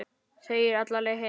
Þegir alla leiðina heim.